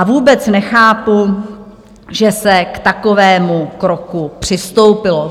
A vůbec nechápu, že se k takovému kroku přistoupilo.